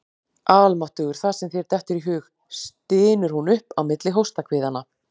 Almáttugur, það sem þér dettur í hug, stynur hún upp á milli hóstahviðanna.